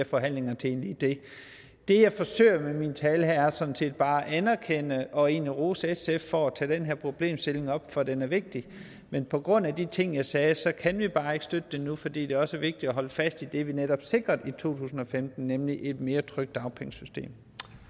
forhandlinger til det jeg forsøger med min tale her er sådan set bare at anerkende og egentlig rose sf for at tage den her problemstilling op for den er vigtig men på grund af de ting jeg sagde så kan vi bare ikke støtte det nu fordi det også er vigtigt at holde fast i det vi netop sikrede i to tusind og femten nemlig et mere trygt dagpengesystem